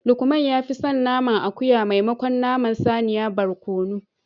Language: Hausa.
Lukman ya fi son naman akuya maimakon naman saniya barkono